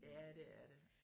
Ja det er det